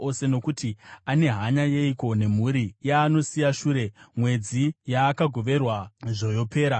Nokuti ane hanya yeiko nemhuri yaanosiya shure, mwedzi yaakagoverwa zvoyopera?